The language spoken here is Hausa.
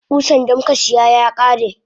Kusan damuka siya yakare.